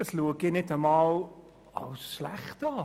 Das erachte ich nicht einmal als schlecht.